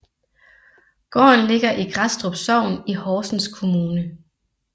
Gården Ligger i Grædstrup Sogn i Horsens Kommune